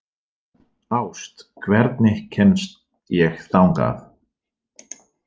Ást, hvernig kemst ég þangað?